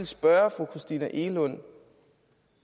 spørge fru christina egelund